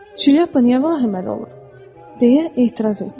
"Şilyapa niyə vahiməli olur?" deyə etiraz etdilər.